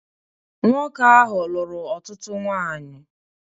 Nwoke ahụ lụrụ ọtụtụ nwanyị.